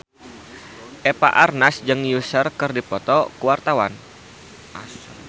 Eva Arnaz jeung Usher keur dipoto ku wartawan